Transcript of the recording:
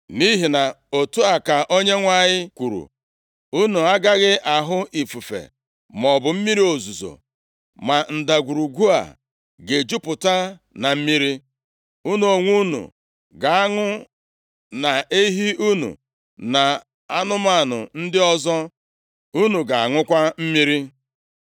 Nʼihi na otu a ka Onyenwe anyị kwuru, Unu agaghị ahụ ifufe maọbụ mmiri ozuzo, ma ndagwurugwu a ga-ejupụta na mmiri, unu onwe unu ga-aṅụ, na ehi unu, na anụmanụ ndị ọzọ unu ga-aṅụkwa mmiri.